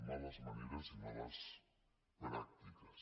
males maneres i males pràctiques